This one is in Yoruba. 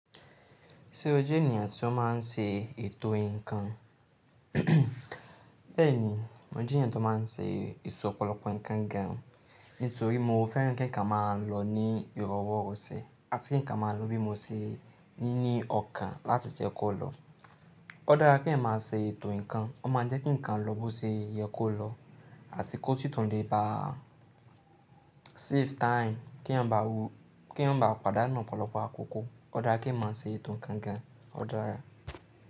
Ṣé o jẹ́ ènìyàn tí ó máa ń ṣe ètò ǹkan? Bẹ́ẹ̀ni, mo jẹ́ ènìyàn tó máa ń ṣe ètò ọ̀pọ̀lọpọ̀ ǹkan gan, nítorí mo fẹ́ràn kí ǹkan máa lọ ní ìró ọwọ́ ro ṣe àti kí ǹkan máa lọ bí mo ṣe ní ní ọkàn láti je kó lọ. Ó dára kí èèyàn máa ṣe ètò ǹkan, ó máa jẹ́ kí ǹkan lọ bó ṣe yẹ kó lọ àti kó si tùn le ba, save time kí eeyan mabá padanu ọ̀pọ̀lọpọ̀ àkókò. Ó dára kí èèyàn má ṣe ètò ǹkan gan, ó dára.